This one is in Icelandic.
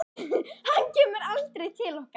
Hann kemur aldrei til okkar.